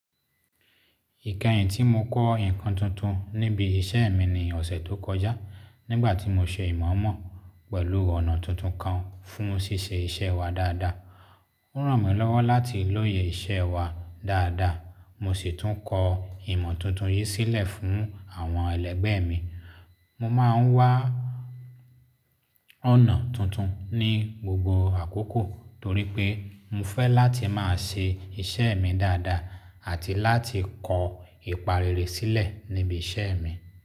Ìkẹyìn tí mo kọ́ nǹkan tuntun níbi iṣẹ́ mi ní ọ̀sẹ̀ tó kọjá nígbà tí mo ṣe ìmọ̀ mọ̀ pẹ̀lú ọ̀nà tuntun kan fún ṣíṣe iṣẹ́ wa dáadáa. Ó ràn mí lọ́wọ́ láti lóye iṣẹ́ wa dáadáa, mo sì tún kọ ìmọ̀ tuntun yìí sílẹ̀ fún àwọn ẹlẹgbẹ́ mi. Mo máa ń wá ọ̀nà tuntun ní gbogbo àkókò torí pé mo fẹ́ láti máa ṣe iṣẹ́ mi dáadáa àti láti kọ ìpà rere sílẹ̀ níbi iṣẹ́ mi.